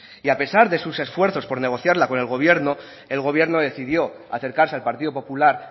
y a pesar de sus esfuerzos por negociarla con el gobierno el gobierno decidió acercarse al partido popular